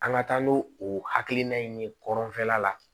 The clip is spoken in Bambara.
An ka taa n'o o hakilina ye kɔrɔnfɛla la